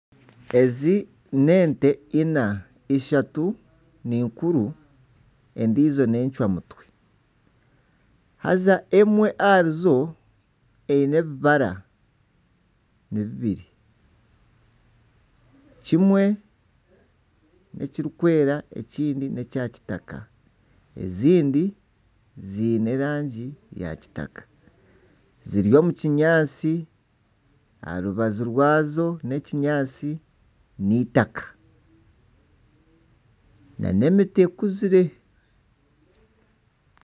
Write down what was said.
Ezi n'ente ina ishatu ninkuru endiijo n'encwamutwe haza emwe aharizo ebibara ni bibiri, kimwe n'ekirikwera ekindi n'ekya kitaka ezindi ziine erangi ya kitaka ziri omu kinyaatsi aha rubaju rw'akyo nekinyaatsi nana itaka nana emiti ekuzire.